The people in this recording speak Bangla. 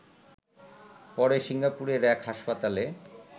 পরে সিঙ্গাপুরের এক হাসপাতালে